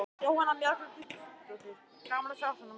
Jóhanna Margrét Gísladóttir: Gaman að sjá svona marga?